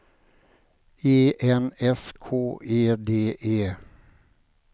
E N S K E D E